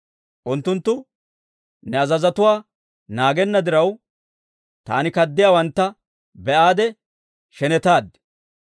Unttunttu ne azazotuwaa naagenna diraw, taani kaddiyaawantta be'aade shenetaad.